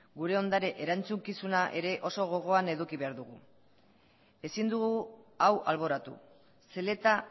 gure ondare erantzukizuna ere oso gogoan eduki behar dugu ezin dugu hau alboratu zeleta